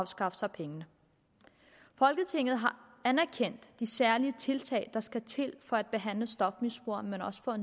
skaffe sig pengene folketinget har anerkendt de særlige tiltag der skal til for at behandle stofmisbrugerne men også for